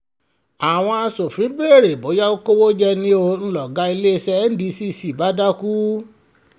àwọn aṣòfin béèrè bóyá ó kówó jẹ ni ó ń lọ̀gá iléeṣẹ́ ndco bá dákú